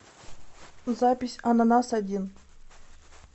запись ананасодин